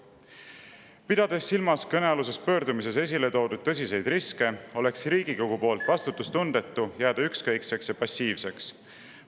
Kui pidada silmas kõnealuses pöördumises esile toodud tõsiseid riske, oleks vastutustundetu, kui Riigikogu jääks selle suhtes ükskõikseks ja passiivseks.